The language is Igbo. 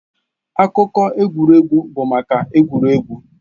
Akụkọ egwuregwu bụ maka egwuregwu.